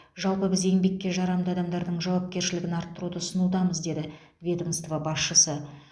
жалпы біз еңбекке жарамды адамдардың жауапкершілігін арттыруды ұсынудамыз деді ведомство басшысы